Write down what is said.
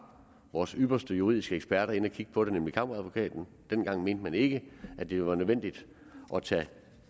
vores ypperste juridiske eksperter inde at kigge på det nemlig kammeradvokaten dengang mente man ikke at det var nødvendigt at tage